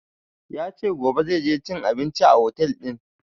Ya ce gobe zai je cin abinci a otel ɗin